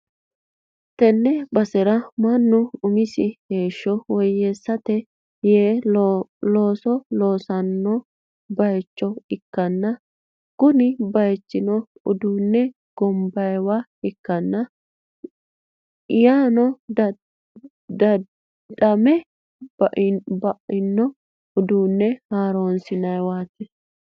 tee basera mannu umisi heeshsho woyyeessate yee looso loosanno bayicho ikkanna, kuni bayichino uduunne gonbanniwa ikkanna, yaanno daddadhame ba'ino uduunne haaronsi'nanniwati.